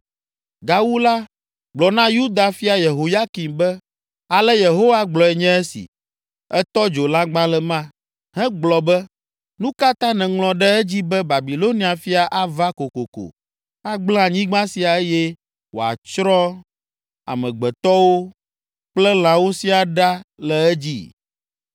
Gawu la, gblɔ na Yuda fia Yehoyakim be, ‘Ale Yehowa gblɔe nye esi: Ètɔ dzo lãgbalẽ ma, hegblɔ be, “Nu ka ta nèŋlɔ ɖe edzi be Babilonia fia ava kokoko agblẽ anyigba sia eye wòatsrɔ̃ amegbetɔwo kple lãwo siaa ɖa le edzi?”